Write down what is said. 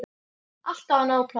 Alltaf var nóg pláss.